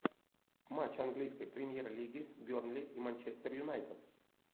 матч английской премьер лиги бернли и манчестер юнайтед